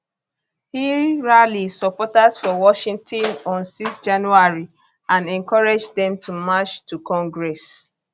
e rally supporters for washington on 6 january and encourage dem to march to congress